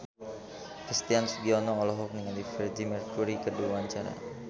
Christian Sugiono olohok ningali Freedie Mercury keur diwawancara